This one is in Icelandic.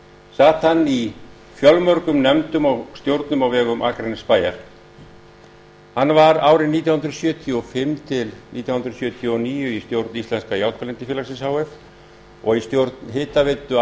sat hann í fjölmörgum nefndum og stjórnum á vegum akranessbæjar hann var árin nítján hundruð sjötíu og fimm til nítján hundruð sjötíu og níu í stjórn íslenska járnblendifélagsins h f og í stjórn hitaveitu